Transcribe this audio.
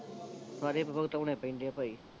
ਸਾਰੇ ਭੁਗਤਾਉਣੇ ਪੈਂਦੇ ਆ ਭਾਈ